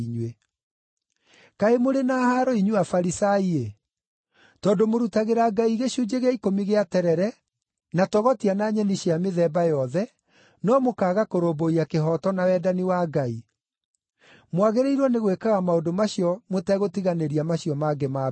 “Kaĩ mũrĩ na haaro inyuĩ Afarisai-ĩ! Tondũ mũrutagĩra Ngai gĩcunjĩ gĩa ikũmi gĩa terere, na togotia na nyeni cia mĩthemba yothe no mũkaaga kũrũmbũiya kĩhooto na wendani wa Ngai. Mwaagĩrĩirwo nĩ gwĩkaga maũndũ macio mũtegũtiganĩria macio mangĩ ma mbere.